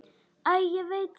Æ, ég veit það ekki.